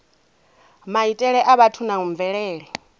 maitele a vhathu na mvelele